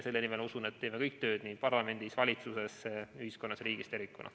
Selle nimel, ma usun, teeme kõik tööd nii parlamendis, valitsuses, ühiskonnas kui ka riigis tervikuna.